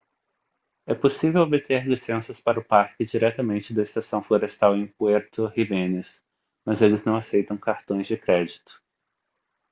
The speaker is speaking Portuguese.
é possível obter licenças para o parque diretamente da estação florestal em puerto jiménez mas eles não aceitam cartões de crédito